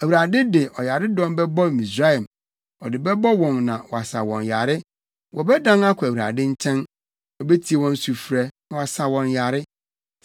Awurade de ɔyaredɔm bɛbɔ Misraim; ɔde bɛbɔ wɔn na wasa wɔn yare. Wɔbɛdan akɔ Awurade nkyɛn, na obetie wɔn sufrɛ, na wasa wɔn yare.